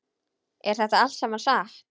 Er þetta allt saman satt?